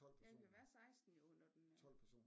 Ja vi kan være 16 jo når den er